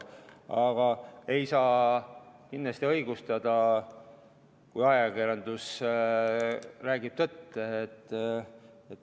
Aga ei saa kindlasti õigustada.